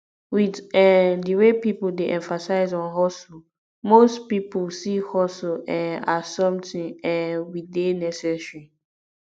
with um di wey pipo dey emphasize on hustle most pipo see hustle um as something um we dey necessary